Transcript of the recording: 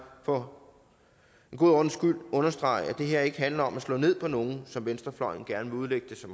for en god ordens skyld understrege at det her ikke handler om at slå ned på nogen som venstrefløjen gerne vil udlægge det for